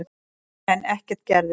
En ekkert gerðist.